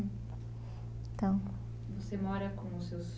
Então... Você mora com os seus